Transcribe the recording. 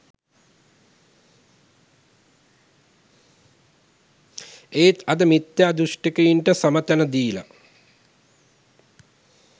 එත් අද මිත්‍යා දෘෂ්ටිකයින්ට සම තැන දීල